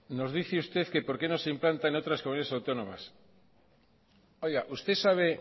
nos dice usted que por qué no se implanta en otras comunidades autónomas usted sabe